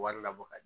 Wari labɔ ka di